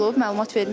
Məlumat vermisiz?